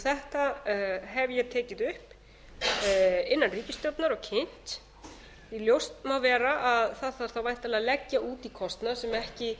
þetta hef ég tekið upp innan ríkisstjórnar og kynnt því ljóst má vera að það þarf þá væntanlega að leggja út í kostnað sem ekki